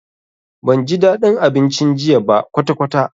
Banji dadin abincin jiya ba kwatakwata.